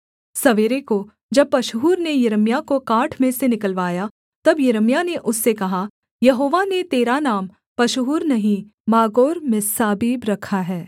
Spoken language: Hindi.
सवेरे को जब पशहूर ने यिर्मयाह को काठ में से निकलवाया तब यिर्मयाह ने उससे कहा यहोवा ने तेरा नाम पशहूर नहीं मागोर्मिस्साबीब रखा है